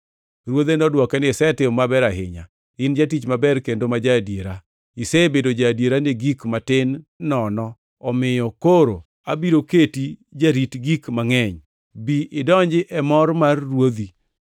“Ruodhe nodwoke ni, ‘Isetimo maber ahinya. In jatich maber kendo ma ja-adiera! Isebedo ja-adiera gi gik matin nono omiyo koro abiro keti jarit gik mangʼeny. Bi idonji e mor mar ruodhi!’